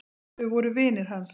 Þau voru vinir hans.